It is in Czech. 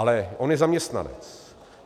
Ale on je zaměstnanec.